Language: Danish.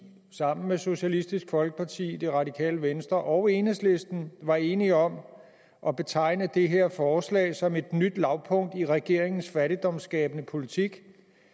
sammen med socialistisk folkeparti det radikale venstre og enhedslisten var enige om at betegne det her forslag som et nyt lavpunkt i regeringens fattigdomsskabende politik